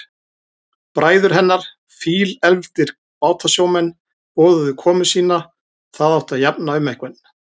Bræður hennar, fílefldir bátasjómenn, boðuðu komu sína, það átti að jafna um einhvern.